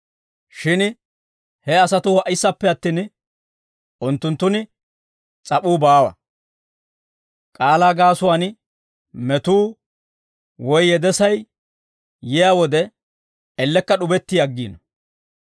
Shin he asatuu ha"issappe attin, unttunttun s'ap'uu baawa; k'aalaa gaasuwaan metuu woy yedesay yiyaa wode, ellekka d'ubetti aggiino.